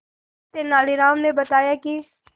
तेनालीराम ने बताया कि